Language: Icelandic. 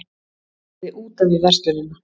Gerði út af við verslunina